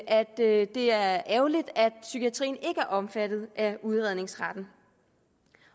at det er ærgerligt at psykiatrien ikke er omfattet af udredningsretten